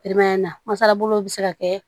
na mansa bolo bi se ka kɛ